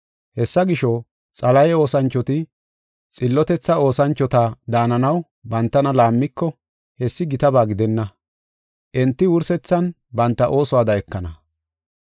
Hessa gisho, Xalahe oosanchoti xillotethaa oosanchota daananaw bantana laammiko hessi gitaba gidenna. Enti wursethan banta oosuwada ekana.